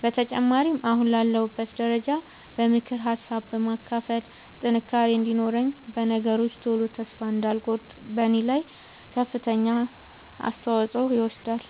በተጨማሪም አሁን ላለሁበት ደረጃ በምክር ሀሳብ በማካፈል ጥንካሬ እንዲኖረኝ በነገሮች ቶሎ ተስፋ እንዳልቆርጥ በኔ ላይ ከፍተኛውን አስተዋፅኦ ይወስዳል።